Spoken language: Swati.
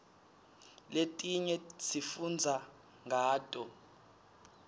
letinye sifundza ngato